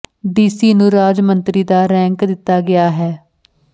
DC ਨੂੰ ਰਾਜ ਮੰਤਰੀ ਦਾ ਰੈਂਕ ਦਿੱਤਾ ਗਿਆ ਹੈ